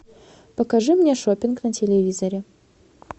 покажи мне шопинг на телевизоре